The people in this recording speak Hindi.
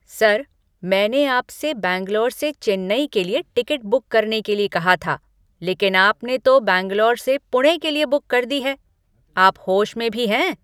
सर! मैंने आपसे बैंगलोर से चेन्नई के लिए टिकट बुक करने के लिए कहा था, लेकिन आपने तो बैंगलोर से पुणे के लिए बुक कर दी है। आप होश में भी हैं?